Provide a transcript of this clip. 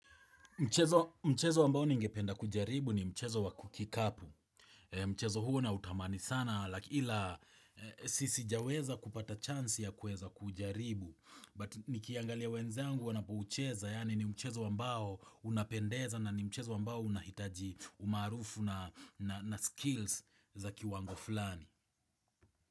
Mchezo ambao ningependa kujaribu ni mchezo wa kikapu. Mchezo huo nautamani sana laki ila sijaweza kupata chance ya kuweza kujaribu. But nikiangalia wenzangu wanapoucheza yaani ni mchezo ambao unapendeza na ni mchezo ambao unahitaji umarufu na na skills za kiwango fulani.